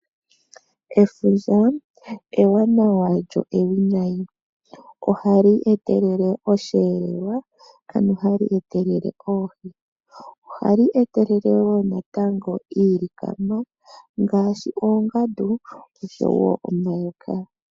Efundja ewanawa lyo ewinayi, ohali etelele osheelelwa ano ohali etelele oohi. Ohali etelele woo natango iilikama ngaashi oongandu oshowo omayoka.